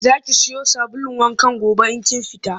Za ki siyo sabulun wankan gobe in kin fita?